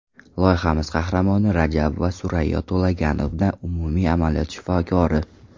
Loyihamiz qahramoni Rajabova Surayyo To‘laganovna, umumiy amaliyot shifokori.